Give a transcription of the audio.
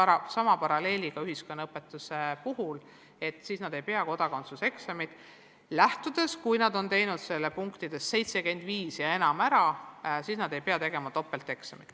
Kui õpilane on ühiskonnaõpetuse eksamil saanud vähemalt 75 punkti, siis ta ei pea tegema topelteksamit.